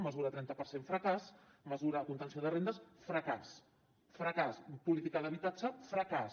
mesura trenta per cent fracàs mesura contenció de rendes fracàs fracàs política d’habitatge fracàs